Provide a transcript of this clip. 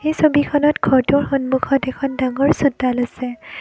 এই ছবিখনত ঘৰটোৰ সন্মুখত এখন ডাঙৰ চোতাল আছে।